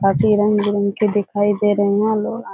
काफी रंग- बिरंग के दिखाई दे रहे है। --